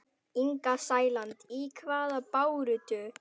Inga Sæland: Í hvaða baráttu?